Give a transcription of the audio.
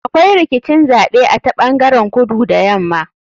Akwai rikicin zaɓe a ta ɓangaren kudu da yama.